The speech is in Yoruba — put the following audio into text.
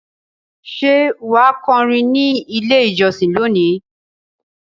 Ṣé wà á kọrin ní Ilé-ìjọsìn lónìí?